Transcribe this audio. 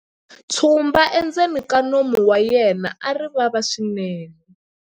tshumba endzeni ka nomu wa yena a ri vava swinene